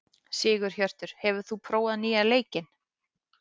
Sigurhjörtur, hefur þú prófað nýja leikinn?